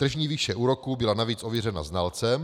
Tržní výše úroků byla navíc ověřena znalcem.